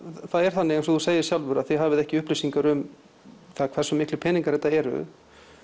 það er þannig eins og þú segir sjálfur að þið hafið ekki upplýsingar um það hversu miklir peningar þetta eru